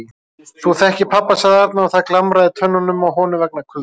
Þú þekkir pabba sagði Arnar og það glamraði í tönnunum á honum vegna kulda.